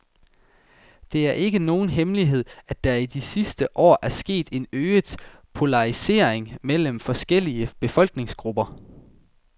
Det er ikke nogen hemmelighed, at der i de sidste år er sket en øget polarisering mellem forskellige befolkningsgrupper.